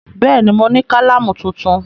Bẹ́ẹ̀ ni, mo ní kálámù tuntun.